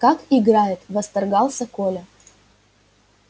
как играет восторгался коля